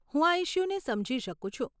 હું આ ઇશ્યૂને સમજી શકું છું.